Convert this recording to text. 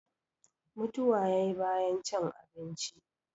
mutuwa ya yi bayan cin abinci